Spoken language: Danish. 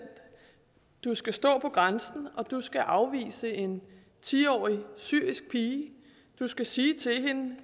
du skal stå på grænsen og du skal afvise en ti årig syrisk pige du skal sige til hende